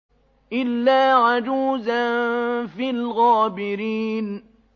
إِلَّا عَجُوزًا فِي الْغَابِرِينَ